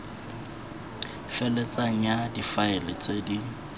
feletseng ya difaele tse di